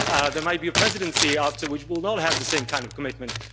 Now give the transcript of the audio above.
There might be a Presidency after which will not have the same kind of commitment.